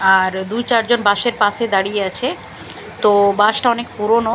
আর দু'চারজন বাস এর পাশে দাঁড়িয়ে আছে তো ও বাস টা অনেক পুরনো।